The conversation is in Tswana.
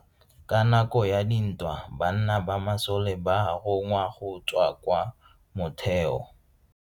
Ka nako ya dintwa banna ba masole ba rongwa go tswa kwa motheo.